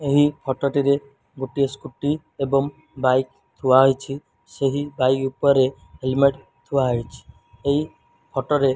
ଏହି ଫଟୋ ଟିରେ ଗୋଟିଏ ସ୍କୁଟି ଏବଂ ବାଇକ୍ ଥୁଆ ହେଇଚି ସେହି ବାଇକ୍ ଉପରେ ହେଲମେଟ ଥୁଆ ହେଇଚି ଏଇ ଫଟୋ ରେ --